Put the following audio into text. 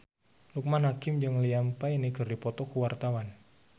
Loekman Hakim jeung Liam Payne keur dipoto ku wartawan